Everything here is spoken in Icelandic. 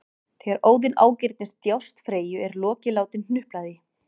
Þegar Óðinn ágirnist djásn Freyju er Loki látinn hnupla því